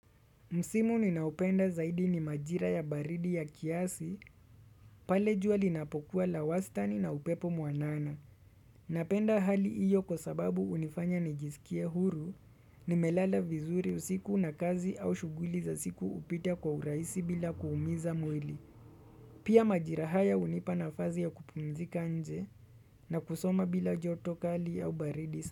Msimu ninaupenda zaidi ni majira ya baridi ya kiasi, pale jua linapokuwa la wastani na upepo mwanana. Napenda hali iyo kwa sababu hunifanya nijisikie huru, nimelala vizuri usiku na kazi au shughuli za siku hupita kwa huraisi bila kuumiza mwili. Pia majira haya hunipa nafasi ya kupumzika nje na kusoma bila joto kali au baridi.